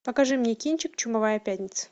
покажи мне кинчик чумовая пятница